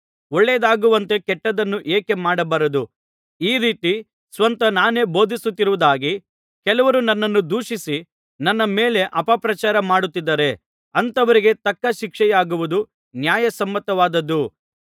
ಒಳ್ಳೆಯದಾಗುವಂತೆ ಕೆಟ್ಟದ್ದನ್ನೇ ಏಕೆ ಮಾಡಬಾರದು ಈ ರೀತಿ ಸ್ವತಃ ನಾನೇ ಬೋಧಿಸುತ್ತಿರುವುದಾಗಿ ಕೆಲವರು ನನ್ನನ್ನು ದೂಷಿಸಿ ನನ್ನ ಮೇಲೆ ಅಪಪ್ರಚಾರ ಮಾಡುತ್ತಿದ್ದಾರೆ ಅಂಥವರಿಗೆ ತಕ್ಕ ಶಿಕ್ಷೆಯಾಗುವುದು ನ್ಯಾಯಸಮ್ಮತವಾದುದು